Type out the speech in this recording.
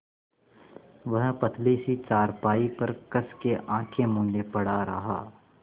वह पतली सी चारपाई पर कस के आँखें मूँदे पड़ा रहा